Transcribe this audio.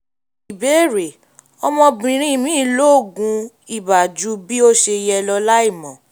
ìbéèrè: ọmọbìnrin mi lo oògùn ibà ju bí ó ṣe yẹ lọ láìmọ̀